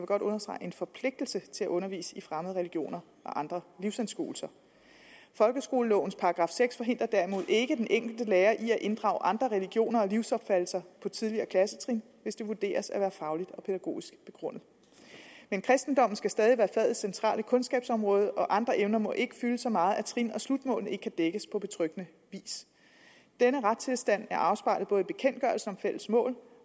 godt understrege en forpligtelse til at undervise i fremmede religioner og andre livsanskuelser folkeskolelovens § seks forhindrer derimod ikke den enkelte lærer i at inddrage andre religioner og livsopfattelser på tidligere klassetrin hvis det vurderes at være fagligt og pædagogisk begrundet men kristendommen skal stadig være fagets centrale kundskabsområde og andre emner må ikke fylde så meget at trin og slutmålene ikke kan dækkes på betryggende vis denne retstilstand er afspejlet både i bekendtgørelsen om fælles mål